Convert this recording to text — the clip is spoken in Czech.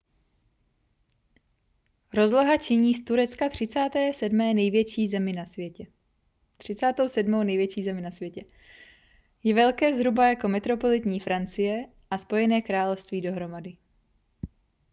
rozloha činí z turecka 37. největší zemi na světě je velké zhruba jako metropolitní francie a spojené království dohromady